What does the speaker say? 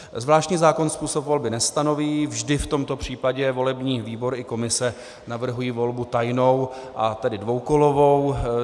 Zvláštní zákon způsob volby nestanoví, vždy v tomto případě volební výbor i komise navrhují volbu tajnou, a tedy dvoukolovou.